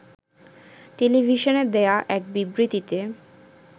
টেলিভিশনে দেয়া এক বিবৃতিতে